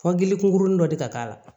Fɔ gilikun kurunin dɔ de ka k'a la